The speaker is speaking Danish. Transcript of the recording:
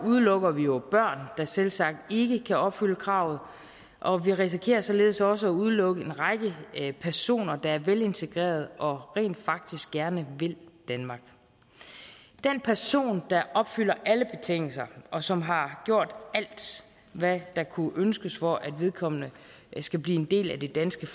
udelukker vi jo børn der selvsagt ikke kan opfylde kravet og vi risikerer således også at udelukke en række personer der er velintegreret og rent faktisk gerne vil danmark den person der opfylder alle betingelser og som har gjort alt hvad der kunne ønskes for at vedkommende skal blive en del af det danske